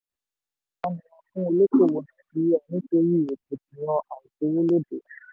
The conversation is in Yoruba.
ọ̀ṣẹ̀ tó kọjá nira fún olóòkòwò nàìjíríà nítorí rògbòdìyàn àìsówólóde.